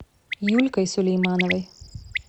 юлькой сулеймановой